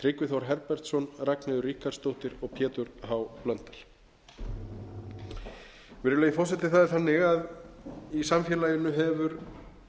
tryggvi þór herbertsson ragnheiður ríkharðsdóttir og pétur h blöndal virðulegi forseti í samfélaginu hefur